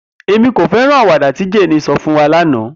Emi ko fẹran awọn awada ti Jane sọ fun wa lana